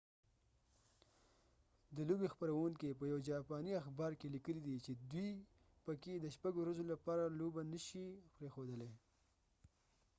د لوبې خپرونکي konami په یو جاپاني اخبار کې لیکلي دي چې دوی په fallujah کې د شپږ ورځو لپاره لوبه نه شي پریښودلی